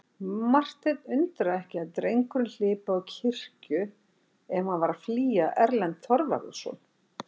Martein undraði ekki að drengurinn hlypi á kirkju ef hann var að flýja Erlend Þorvarðarson.